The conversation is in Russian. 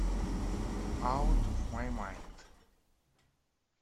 аут оф май майнд